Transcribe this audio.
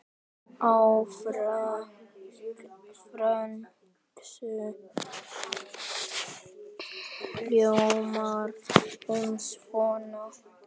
Á frönsku hljómar hún svona